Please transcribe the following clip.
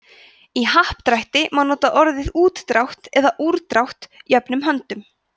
í happdrætti má nota orðin útdrátt og úrdrátt jöfnum höndum